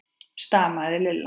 stamaði Lilla.